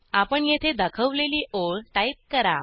आणि येथे दाखवलेली ओळ टाईप करा